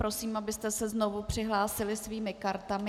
Prosím, abyste se znovu přihlásili svými kartami.